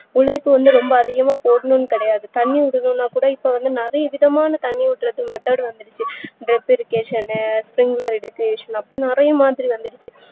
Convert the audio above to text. உழைப்பு வந்து ரொம்ப அதிகமா போடணும்னு கிடையாது தண்ணி இல்லனா கூட இப்போ விதமான தண்ணி ஊத்த method வந்துருச்சு அப்டின்னு நறையமாதிரி வந்துருச்சு